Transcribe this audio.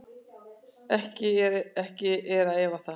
Ekki er að efa það.